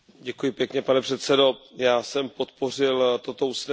Pane předsedo, já jsem podpořil toto usnesení.